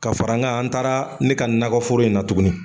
Ka fara an kan an taara ne ka nakɔ foro in na tugunni.